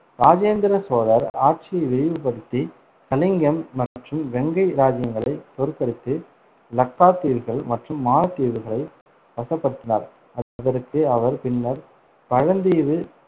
ராஜேந்திர சோழர் ஆட்சியை விரிவுபடுத்தி கலிங்கம் மற்றும் வெங்கை ராஜ்ஜியங்களை தோற்கடித்து லக்காத்தீவுகள் மற்றும் மாலத்தீவுகளை வசப்படுத்தினார், அதற்கு அவர் பின்னர் பழந்தீவு